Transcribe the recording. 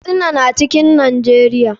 Katsina na cikin najeria.